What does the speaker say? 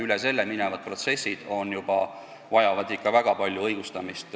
Üle selle aja minevad protsessid vajavad ikka väga palju õigustamist.